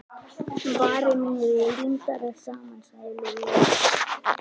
Varir mínar eru límdar saman sagði Lúlli.